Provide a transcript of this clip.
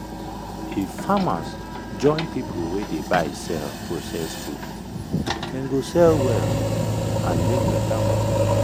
if farmers join people wey dey buy sell process food dem go sell well and make better money.